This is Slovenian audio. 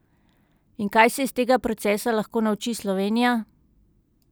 In kaj se iz tega procesa lahko nauči Slovenija?